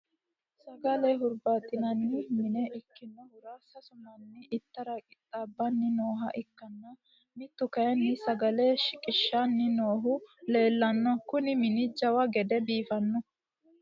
sagale hurbaaxinanni mine ikkinohura sasu manni ittara qixaabbanni nooha ikkanna, mittu kayinni sagale shiqishanni noohu leelanno. kuni mini jawa gede biifanno.